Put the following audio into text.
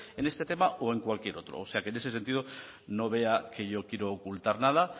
en este tema o en cualquier otro o sea en ese sentido no vea que yo quiero ocultar nada